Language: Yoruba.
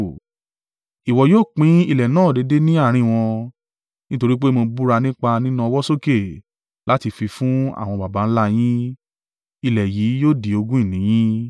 Ìwọ yóò pín ilẹ̀ náà déédé ní àárín wọn. Nítorí pé mo búra nípa nína ọwọ́ sókè láti fi fún àwọn baba ńlá yin, ilẹ̀ yìí yóò di ogún ìní yín.